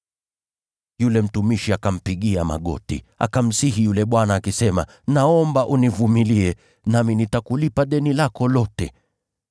“Yule mtumishi akampigia magoti, akamsihi yule bwana akisema, ‘Naomba univumilie, nami nitakulipa deni lako lote.’